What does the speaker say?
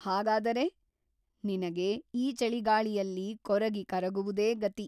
ಹಾಗಾದರೆ ನಿನಗೆ ಈ ಚಳಿಗಾಳಿಯಲ್ಲಿ ಕೊರಗಿ ಕರಗುವುದೇ ಗತಿ !